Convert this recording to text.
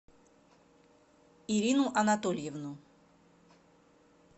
ирину анатольевну